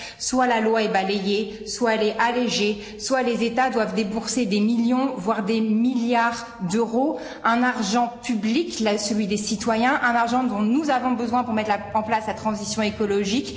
soit la loi est balayée, soit elle est allégée, soit les États doivent débourser des millions voire des milliards d'euros, un argent public, celui des citoyens, un argent dont nous avons besoin pour mettre en place la transition écologique.